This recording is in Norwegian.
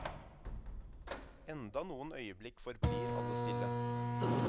Enda noen øyeblikk forblir alle stille.